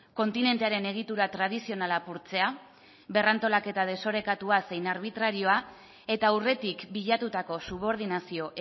kontinentearen egitura tradizionala apurtzea berrantolaketa desorekatua zein arbitrarioa eta aurretik bilatutako subordinazio